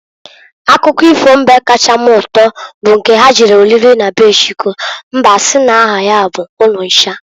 Akụkọ ifo mbe kacha m uto bụ nke ha jere oriri na be Chukwu mbe asi n'aha ya bụ Ununcha.